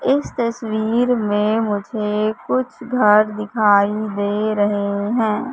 इस तस्वीर में मुझे कुछ घर दिखाई दे रहे हैं।